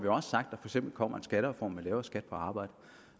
eller